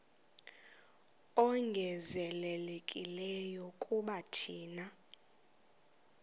ongezelelekileyo kuba thina